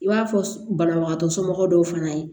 I b'a fɔ banabagatɔ somɔgɔw fana ye